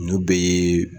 Ninnu bɛɛ ye